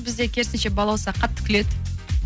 бізде керісінше балауса қатты күледі